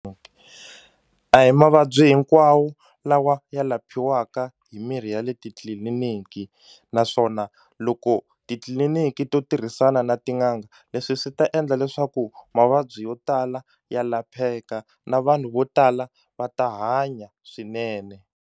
A hi mavabyi hinkwawo lawa ya laphiwaka hi mirhi ya le titliliniki naswona loko titliliniki to tirhisana na tin'anga leswi swi ta endla leswaku mavabyi yo tala ya lapheka na vanhu vo tala va ta hanya swinene.